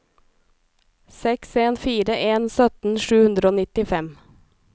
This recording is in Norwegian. seks en fire en sytten sju hundre og nittifem